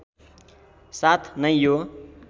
साथ नै यो